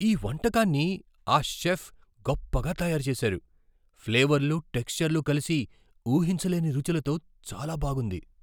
ఈ వంటకాన్ని ఆ చెఫ్ గొప్పగా తయారు చేశారు, ఫ్లేవర్లు, టెక్ష్చర్లు కలిసి ఊహించలేని రుచులతో చాలా బాగుంది.